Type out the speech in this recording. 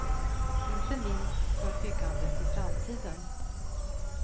Inte minst för byggandet i framtiden.